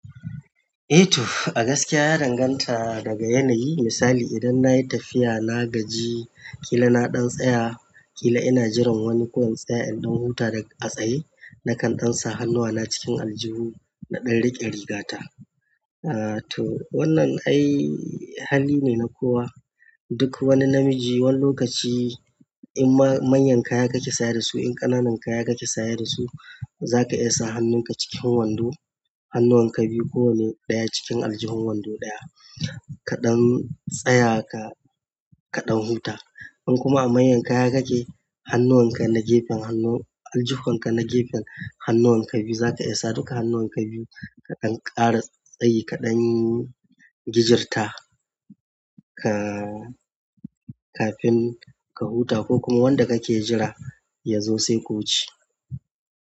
Eh to, a gaskiya ya danganta daga yanayi. Misali idan na yi tafiya, na gaji, kila na ɗan tsaya, kila ina jiran wani ko in tsaya in ɗan huta da a tsaye na kan ɗan sa hannuwa na cikin aljihu na ɗan riƙe rigata. Eh to wannan ai hali ne na kowa. Duk wani namiji wani lokaci in manyan kaya kake saye da su, in ƙananan kaya kake saya da su, za ka iya sa hannunka cikin wando. Hannuwan ka biyu ko wane ɗaya cikin aljihun wando ɗaya. Ka 'dan tysaya ka 'dan huta in kuma a manyan kaya kake, hannuwan ka na gefen hannu-- aljihun ka na gefen hannuwan ka biyu za ka iya sa duka hannuwan ka biyu ka ɗan ƙara tsayi ka ɗan gijirta ka kafin ka huta ko kuma wanda kake jira ya zo sai ku wuce.